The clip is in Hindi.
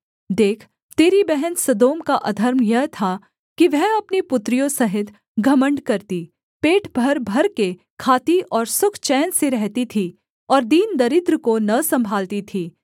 देख तेरी बहन सदोम का अधर्म यह था कि वह अपनी पुत्रियों सहित घमण्ड करती पेट भर भरकर खाती और सुख चैन से रहती थी और दीन दरिद्र को न सम्भालती थी